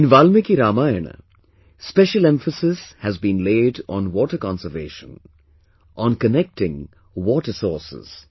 In Valmiki Ramayana, special emphasis has been laid on water conservation, on connecting water sources